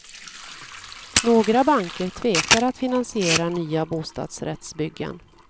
Några banker tvekar att finansiera nya bostadsrättsbyggen.